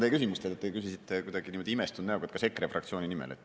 Te küsisite kuidagi imestunud näoga, kas EKRE fraktsiooni nimel.